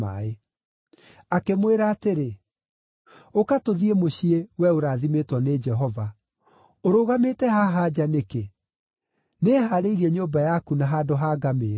Akĩmwĩra atĩrĩ, “Ũka tũthiĩ mũciĩ, wee ũrathimĩtwo nĩ Jehova. Ũrũgamĩte haha nja nĩkĩ? Nĩhaarĩirie nyũmba yaku na handũ ha ngamĩĩra.”